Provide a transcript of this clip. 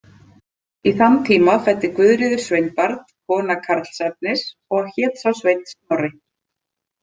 Í þann tíma fæddi Guðríður sveinbarn, kona Karlsefnis, og hét sá sveinn Snorri.